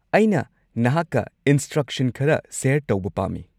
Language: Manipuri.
ꯑꯩꯅ ꯅꯍꯥꯛꯀ ꯏꯟꯁꯇ꯭ꯔꯛꯁꯟ ꯈꯔ ꯁꯦꯌꯔ ꯇꯧꯕ ꯄꯥꯝꯃꯤ꯫